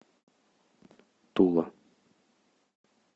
тула